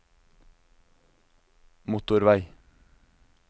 motorvei